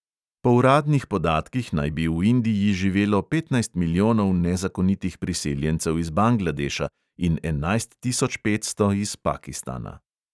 Po uradnih podatkih naj bi v indiji živelo petnajst milijonov nezakonitih priseljencev iz bangladeša in enajst tisoč petsto iz pakistana.